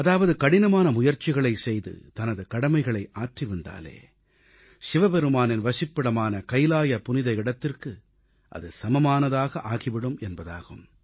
அதாவது கடினமான முயற்சிகளைச் செய்து தனது கடமைகளை ஆற்றிவந்தாலே சிவபெருமானின் வசிப்பிடமான கையிலாய புனித இடத்திற்கு அது சமமானதாக ஆகிவிடும் என்பதாகும்